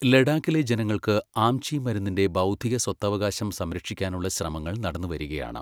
ലഡാക്കിലെ ജനങ്ങൾക്ക് ആംചി മരുന്നിന്റെ ബൗദ്ധിക സ്വത്തവകാശം സംരക്ഷിക്കാനുള്ള ശ്രമങ്ങൾ നടന്നുവരികയാണ്.